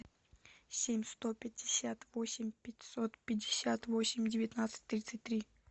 семь сто пятьдесят восемь пятьсот пятьдесят восемь девятнадцать тридцать три